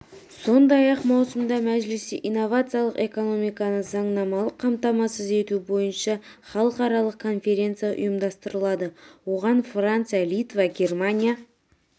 сондай-ақ маусымда мәжілісте инновациялық экономиканы заңнамалық қамтамасыз ету бойынша іалықаралық конференция ұйымдастырылады оған франция литва германия